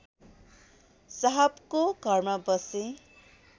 साहबको घरमा बसे